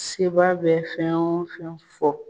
Sebaa bɛ fɛn o fɛn fɔ.